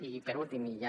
i per últim i ja